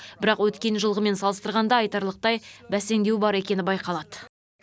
бірақ өткен жылғымен салыстырғанда айтарлықтай бәсеңдеу бар екені байқалады